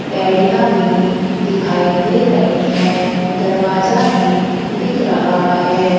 पेड़िया भी दिखाई दे रही है दरवाजा भी दिख रहा है।